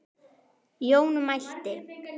Jón mælti